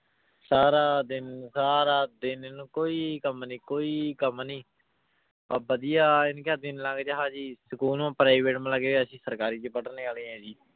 ਸਾਰਾ ਦਿਨ ਸਾਰਾ ਦਿਨ ਇਹਨੂੰ ਕੋਈ ਕੰਮ ਨੀ ਕੋਈ ਕੰਮ ਨੀ, ਆਹ ਵਧੀਆ ਜੀ school ਨੂੰ private ਅਸੀਂ ਸਰਕਾਰੀ ਚ ਪੜ੍ਹਨੇ ਵਾਲੇ ਹਾਂ ਜੀ।